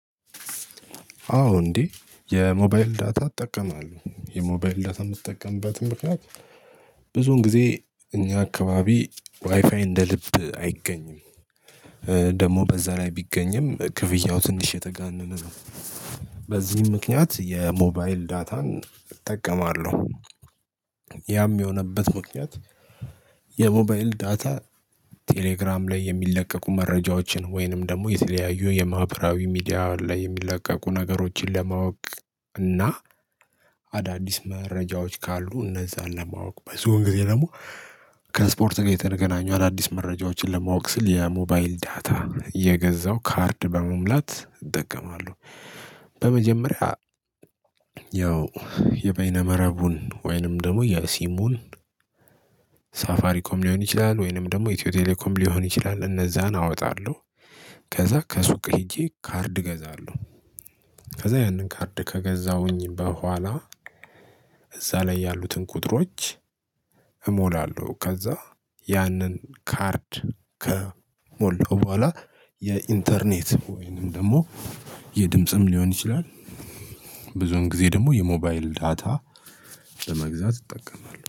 አዎ እንዴ የሞባይል ዳታ እጠቀማለሁ የሞባይል ዳታ የምትጠቀምበትን ምክንያት በቃ ብዙን ጊዜ እኛ አካባቢ ዋይፋይ እንደ ልብ አይገኝም። ደግሞ በዛ ላይ ቢገኝም ክፍያው ትንሽ የተጋነነ ነው። በዚህም ምክንያት የሞባይል ዳታን እጠቀማለሁ። ያም የሆነበት ምክንያት። የሞባይል ዳታ ቴሌግራም ላይ የሚለቀቁ መረጃዎችን ወይንም ደግሞ የተለያዩ የማህበራዊ ሚዲያ ላይ የሚለቀቁ ነገሮችን ለማወቅ እና አዳዲስ መረጃዎች ካሉ እነዛን ለማወቅ በዙን ጊዜ ደግሞ ከስፖርት ጋር የተገናኙ አዳዲስ መረጃዎችን ለማወቅ ስል ያ ሞባይል ዳታ እየገዛው ካርድ በመሙላት እጠቀማለሁ። በመጀመሪያ ያው የበይነ መረቡን ወይንም ደግሞ የሲሙን ሳፋሪኮም ሊሆን ይችላል ወይንም ደግሞ ኢትዮ ቴሌኮም ሊሆን ይችላል እነዛን አወጣለሁ። ከዛ ከሱቅ ሄጄ ካርድ እገዛለሁ። ከዛ ያንን ካርድ ከገዛሁኝ በኋላ እዛ ላይ ያሉትን ቁጥሮች እሞላለሁ ከዛ ያንን ካርድ ከሞላው በኋላ የኢንተርኔት ወይንም ደግሞ የድምጽም ሊሆን ይችላል። ብዙን ጊዜ ደግሞ የሞባይል ዳታ በመግዛት እጠቀማለሁ